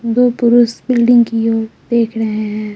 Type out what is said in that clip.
दो पुरुष बिल्डिंग कि और देख रहे है।